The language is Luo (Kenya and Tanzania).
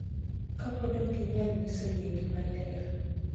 Kapod okginyal nyiso yiegi maler.